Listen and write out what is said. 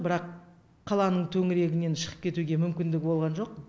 бірақ қаланың төңірегінен шығып кетуге мүмкіндігі болған жоқ